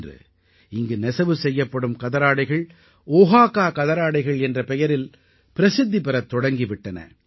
இன்று இங்கு நெசவு செய்யப்படும் கதராடைகள் ஓஹாகா கதராடைகள் என்ற பெயரில் பிரசித்தி பெறத் தொடங்கி விட்டன